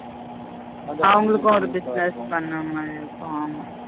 அவங்களுக்கும் ஒரு business பண்ணின் மாதி இருக்கும் ஆமா